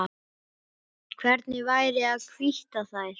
Hvernig væri að hvítta þær?